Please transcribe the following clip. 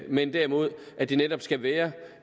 men derimod at det netop skal være